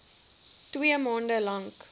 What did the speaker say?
twee maande lank